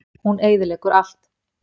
Hún eyðileggur allt.